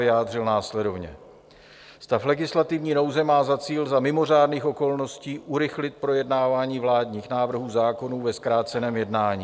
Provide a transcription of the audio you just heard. vyjádřil následovně: Stav legislativní nouze má za cíl za mimořádných okolností urychlit projednávání vládních návrhů zákonů ve zkráceném jednání.